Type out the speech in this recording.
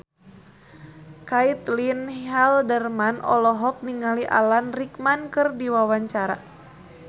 Caitlin Halderman olohok ningali Alan Rickman keur diwawancara